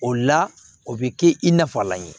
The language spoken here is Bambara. O la o bi kɛ i nafalan ye